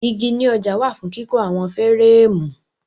Igi ní ọjà wà fún kíkọ́ àwọn fẹ́rẹ́ẹ̀mù.